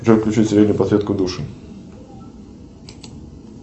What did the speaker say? джой включи подсветку души